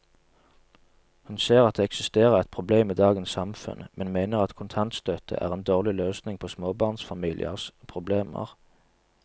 Hun ser at det eksisterer et problem i dagens samfunn, men mener at kontantstøtte er en dårlig løsning på småbarnsfamiliers problemer.